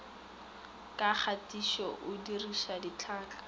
ka kgatišo o diriša ditlhaka